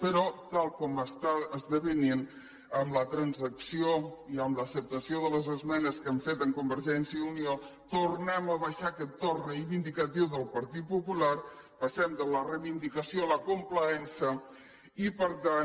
però tal com està esdevenint amb la transacció i amb l’acceptació de les esmenes que han fet amb convergència i unió tornem a baixar aquest to reivindicatiu del partit popular passem de la reivindicació a la complaença i per tant